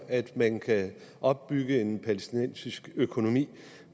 at man kan opbygge en palæstinensisk økonomi